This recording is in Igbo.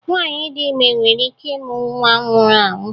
Nwaanyị dị ime nwere ike ị mụ nwa nwụrụ anwụ